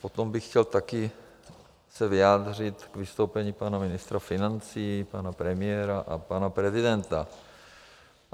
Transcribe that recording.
Potom bych chtěl taky se vyjádřit k vystoupení pana ministra financí, pana premiéra a pana prezidenta.